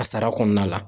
A sara kɔnɔna la